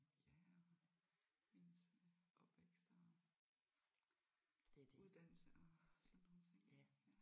Ja og ens øh opvækst og uddannelse og sådan nogle ting ja